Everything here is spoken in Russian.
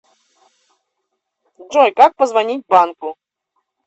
джой как позвонить банку